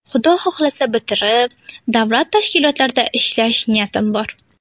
Xudo xohlasa, bitirib, davlat tashkilotlarida ishlash niyatim bor.